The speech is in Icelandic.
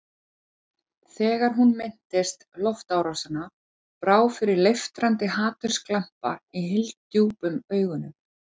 Þegar hún minntist loftárásanna brá fyrir leiftrandi hatursglampa í hyldjúpum augunum.